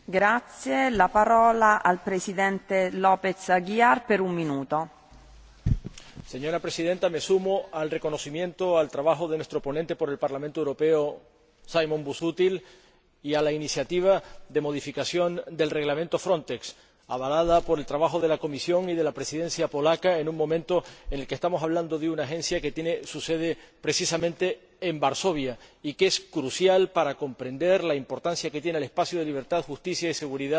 Señora Presidenta, me sumo al reconocimiento al trabajo de nuestro ponente por el Parlamento Europeo, Simon Busuttil, y a la iniciativa de modificación del Reglamento Frontex, avalada por el trabajo de la Comisión y de la Presidencia polaca en un momento en el que estamos hablando de una agencia que tiene su sede, precisamente, en Varsovia, y que es crucial para comprender la importancia que tiene el espacio de libertad, justicia y seguridad